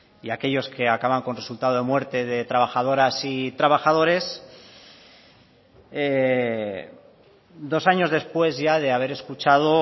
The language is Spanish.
y aquellos que acaban con resultado de muerte de trabajadoras y trabajadores dos años después ya de haber escuchado